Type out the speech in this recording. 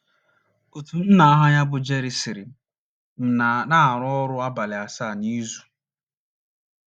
Otu nna aha ya bụ Gary sịrị: “ M na - arụ ọrụ abalị asaa n’izu.